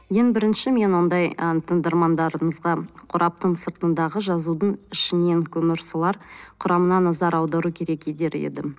ең бірінші мен ондай ы тыңдармандарымызға қораптың сыртындағы жазудың ішінен көмірсулар құрамына назар аудару керек едім